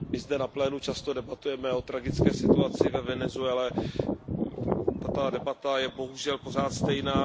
My zde na plénu často debatujeme o tragické situaci ve Venezuele, tato debata je bohužel pořád stejná.